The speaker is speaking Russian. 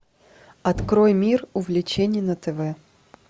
открой мир увлечений на тв